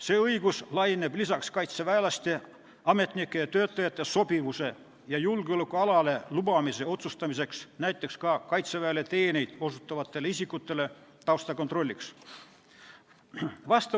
See õigus kehtib peale kaitseväelaste, ametnike ja töötajate sobivuse ja julgeolekualale lubamise otsustamise näiteks ka Kaitseväele teenuseid osutavate isikute taustakontrolli puhul.